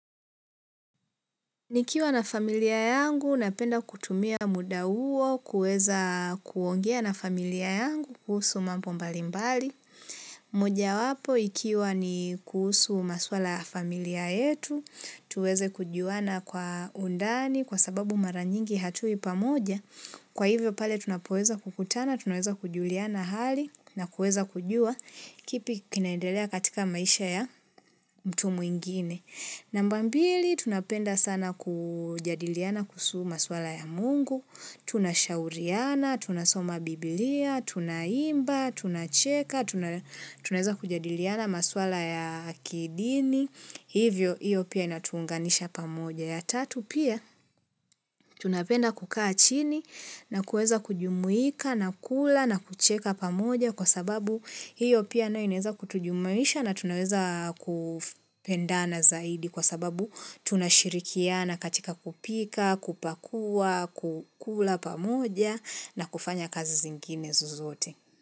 Nikiwa na familia yangu, napenda kutumia muda uo kuweza kuongea na familia yangu kuhusu mamno mbalimbali. Moja wapo, ikiwa ni kuhusu maswala ya familia yetu, tuweze kujuana kwa undani kwa sababu mara nyingi hatui pamoja. Kwa hivyo pale, tunapoeza kukutana, tunaweza kujuliana hali na kueza kujua kipi kinaendelea katika maisha ya mtu mwingine. Namba mbili, tunapenda sana kujadiliana kuhusu maswala ya mungu, tunashauriana, tunasoma biblia, tunaimba, tunacheka, tunaeza kujadiliana maswala ya kidini, hivyo hivyo pia inatuunganisha pamoja. Ya tatu pia tunapenda kukaa chini na kueza kujumuika na kula na kucheka pamoja kwa sababu hiyo pia na ineza kutujumuisha na tunaweza kupendana zaidi kwa sababu tunashirikiana katika kupika, kupakua, kukula pamoja na kufanya kazi zingine zozote.